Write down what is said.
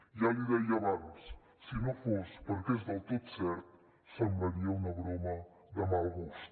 ja l’hi deia abans si no fos perquè és del tot cert semblaria una broma de mal gust